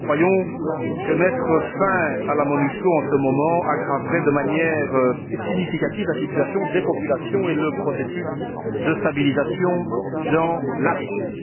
Nous croyons que mettre fin à la MONUSCO en ce moment aggraverait de manière significative la situation des populations et compromettrait le processus de stabilisation dans la région.